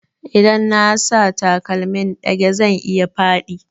Idan na sa takalmin ɗage zan iya faɗi